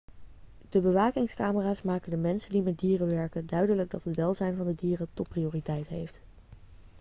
'de bewakingscamera's maken de mensen die met dieren werken duidelijk dat het welzijn van de dieren topprioriteit heeft.'